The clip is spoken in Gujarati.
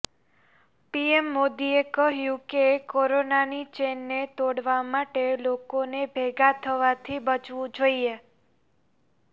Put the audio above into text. પીએમ મોદીએ કહ્યું કે કોરોનાની ચેઇનને તોડવા માટે લોકોને ભેગા થવાથી બચવું જોઇએ